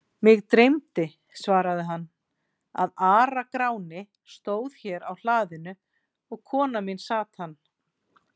Mig dreymdi, svaraði hann,-að Ara-Gráni stóð hér á hlaðinu og kona mín sat hann.